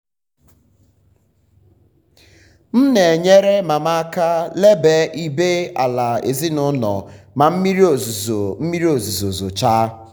m na-enyere mama aka lele ibé-ala ezinụlọ ma mmiri ozuzo mmiri ozuzo zochaa.